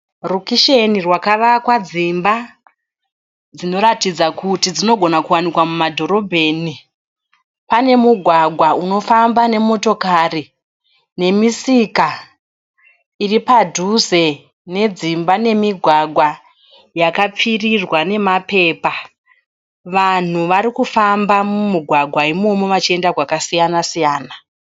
Rukusheni rwakavakwa dzimba dzinoratidza kuti dzinogona kuwanikwa mumadhorobheni. Pane mugwagwa unofamba nemotikari nemisika iri padhuze nedzimba nemigwagwa yakapfirirwa nemapepa. Vanhu vari kufamba mumugwagwa imomo vachienda kwakasiyana siyana.